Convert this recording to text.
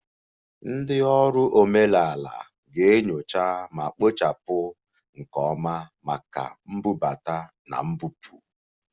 Ndị ọrụ omenala ga-enyocha ma kpochapụ nke ọma maka mbubata na mbupụ